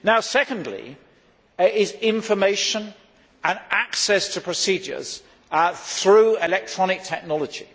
Second is information and access to procedures through electronic technology.